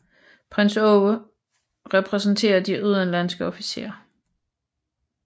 Prins Aage repræsenterer de udenlandske officerer